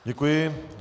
Děkuji.